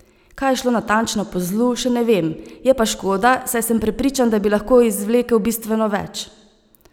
Kaj je šlo natančno po zlu, še ne vem, je pa škoda, saj sem prepričan, da bi lahko izvlekel bistveno več.